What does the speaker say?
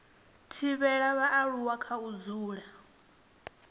thivhela vhaaluwa kha u dzula